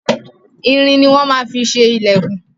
Irin ni wọ́n má fi ṣe ilẹkun.